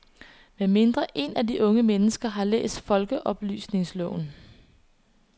Med mindre en af de unge mennesker har læst folkeoplysningsloven.